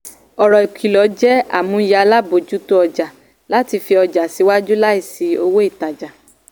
ọ̀rọ̀ ikilọ jẹ́ àmúyẹ alábòjútó ọjà láti fi ọjà síwájú láìsí owó ìtajà.